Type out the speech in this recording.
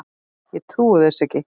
Ég trúi þessu ekki